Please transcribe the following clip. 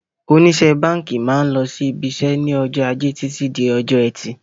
Oníṣe báńkì máa ń lọ sí IBIṢẸ́ ní ọjọ́ ajé Títí di ọjọ́ ẹtì.